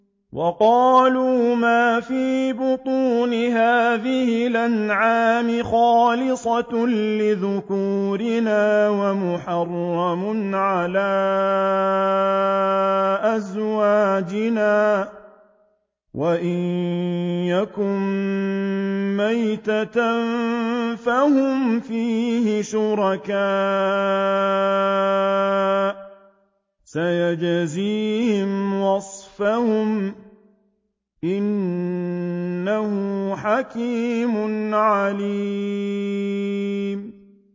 وَقَالُوا مَا فِي بُطُونِ هَٰذِهِ الْأَنْعَامِ خَالِصَةٌ لِّذُكُورِنَا وَمُحَرَّمٌ عَلَىٰ أَزْوَاجِنَا ۖ وَإِن يَكُن مَّيْتَةً فَهُمْ فِيهِ شُرَكَاءُ ۚ سَيَجْزِيهِمْ وَصْفَهُمْ ۚ إِنَّهُ حَكِيمٌ عَلِيمٌ